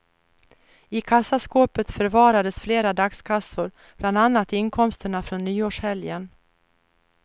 I kassaskåpet förvarades flera dagskassor, bland annat inkomsterna från nyårshelgen.